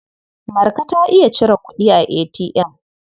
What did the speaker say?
Marka ta iya cire kuɗi a ATM.